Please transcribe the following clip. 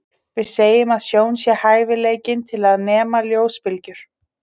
Við segjum að sjón sé hæfileikinn til að nema ljósbylgjur.